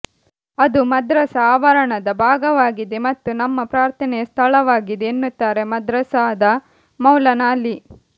ಅದು ಮದ್ರಸ ಆವರಣದ ಭಾಗವಾಗಿದೆ ಮತ್ತು ನಮ್ಮ ಪ್ರಾರ್ಥನೆಯ ಸ್ಥಳವಾಗಿದೆ ಎನ್ನುತ್ತಾರೆ ಮದ್ರಸಾದ ಮೌಲಾನಾ ಅಲಿ